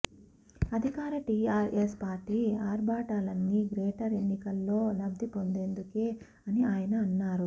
అధికార టీఆర్ఎస్ పార్టీ ఆర్భాటాలన్నీ గ్రేటర్ ఎన్నికల్లో లబ్ధి పొందేందుకే అని ఆయన అన్నారు